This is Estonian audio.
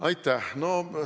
Aitäh!